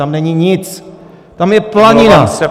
Tam není nic, tam je planina.